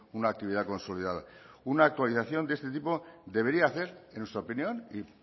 una actividad consolidada una actualización de este tipo debería hacer en nuestra opinión y